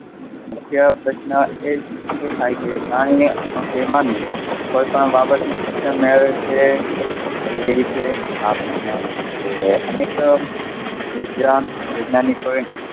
મુખ્ય પ્રશ્ન એ જ થાય છે કે, કોઈપણ બાબતની તેવી રીતે આ પ્રશ્ન, અનેક વિજ્ઞાન વૈજ્ઞાનિકોએ,